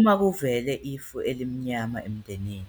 Uma kuvele ifu elimnyama emndenini,